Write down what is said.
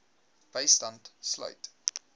bystand sluit